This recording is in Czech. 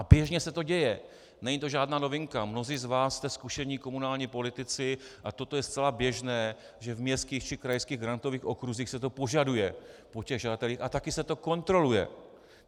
A běžně se to děje, není to žádná novinka, mnozí z vás jste zkušení komunální politici a toto je zcela běžné, že v městských či krajských grantových okruzích se to požaduje po těch žadatelích a také se to kontroluje.